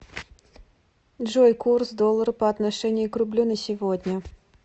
джой курс доллара по отношению к рублю на сегодня